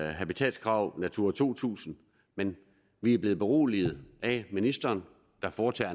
habitatskrav natura to tusind men vi er blevet beroliget af ministeren der foretager